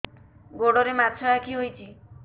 ଗୋଡ଼ରେ ମାଛଆଖି ହୋଇଛି